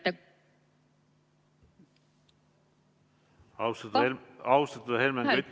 Austatud eesistuja!